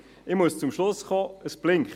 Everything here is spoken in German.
Ich muss zum Schluss kommen, es blinkt.